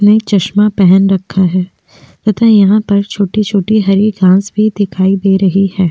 ने एक चश्मा पहन रखा है तथा यहाँ पर छोटे छोटे हरे घास भी दिखाई दे रहे हैं।